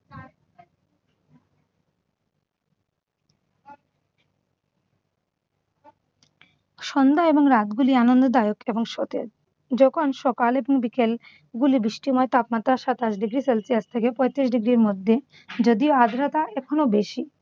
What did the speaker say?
সন্ধ্যা এবং রাতগুলি আনন্দদায়ক এবং সতেজ। যখন সকাল এবং বিকেলগুলি বৃষ্টিময় তাপমাত্রা সাতাশ ডিগ্রির সেলসিয়াস থেকে পঁয়ত্রিশ ডিগ্রির মধ্যে। যদিও আর্দ্রতা এখনো বেশি।